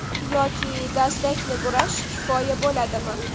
Yoki dastakni burash kifoya bo‘ladimi?